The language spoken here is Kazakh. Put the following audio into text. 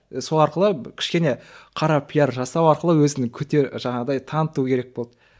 сол арқылы кішкене қара пиар жасау арқылы өзінің жаңағыдай таныту керек болды